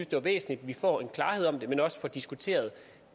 det var væsentligt at vi får klarhed om det men også får diskuteret